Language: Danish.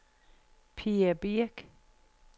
Pia Birch